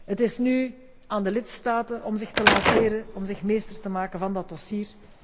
Het is nu aan de lidstaten om zich te lanceren, om zich meester te maken van dat dossier.